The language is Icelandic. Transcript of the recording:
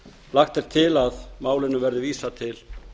lagt er til að málinu verði vísað til